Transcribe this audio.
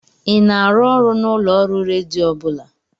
Ị na-arụ ọrụ na ulooru redio ọ bụla?